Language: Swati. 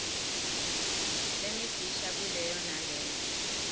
lemifisha kuleyo naleyo